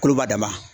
Koloba dama